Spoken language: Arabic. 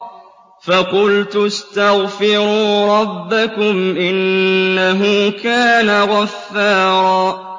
فَقُلْتُ اسْتَغْفِرُوا رَبَّكُمْ إِنَّهُ كَانَ غَفَّارًا